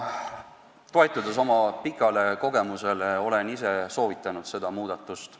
Toetudes oma pikaaegsele kogemusele, olen ma ise soovitanud seda muudatust.